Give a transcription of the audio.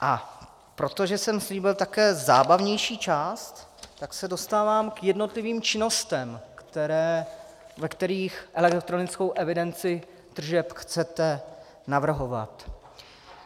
A protože jsem slíbil také zábavnější část, tak se dostávám k jednotlivým činnostem, ve kterých elektronickou evidenci tržeb chcete navrhovat.